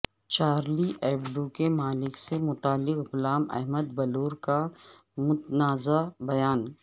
Charlie Hebdo کے مالک سے متعلق غلام احمد بلور کا متنازع بیان